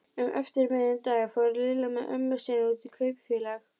Um eftirmiðdaginn fór Lilla með ömmu sinni út í Kaupfélag.